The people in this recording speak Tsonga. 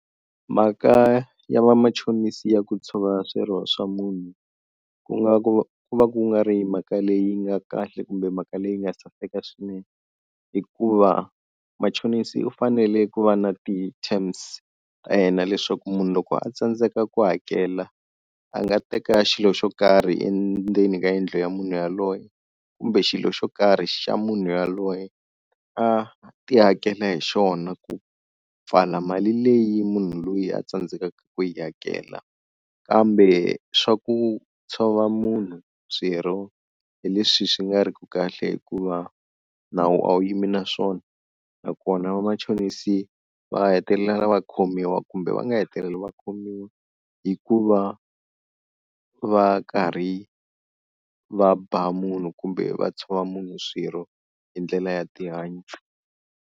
Mhaka ya vamachonisi ya ku tshova swirho swa munhu ku nga ku ku va ku nga ri mhaka leyi nga kahle kumbe mhaka leyi nga saseka swinene, hikuva machonisi u fanele ku va na ti-terms ta yena leswaku munhu loko a tsandzeka ku hakela a nga teka xilo xo karhi endzeni ka yindlu ya munhu yaloye kumbe xilo xo karhi xa munhu yaloye a ti hakela hi xona ku pfala mali leyi munhu luya a tsandzekaka ku yi hakela. Kambe swa ku tshova munhu swirho hi leswi swi nga ri ku kahle hikuva nawu a wu yimi na swona nakona vamachonisi va hetelela va khomiwa kumbe va nga hetelela va khomiwa hikuva va karhi va ba munhu kumbe va tshova munhu swirho hi ndlela ya tihanyi.